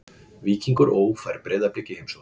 Víkingur Ó fær Breiðablik í heimsókn.